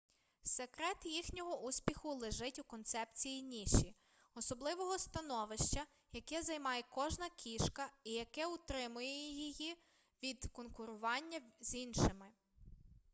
секрет їхнього успіху лежить у концепції ніші особливого становища яке займає кожна кішка і яке утримує її від конкурування з іншими